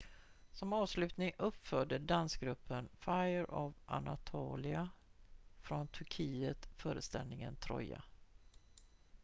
"som avslutning uppförde dansgruppen fire of anatolia från turkiet föreställningen "troja"".